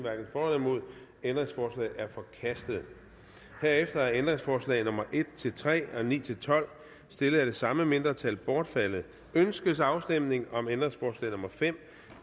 ændringsforslaget er forkastet herefter er ændringsforslag nummer en tre og ni tolv stillet af det samme mindretal bortfaldet ønskes afstemning om ændringsforslag nummer fem